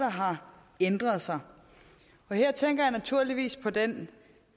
har ændret sig her tænker jeg naturligvis på den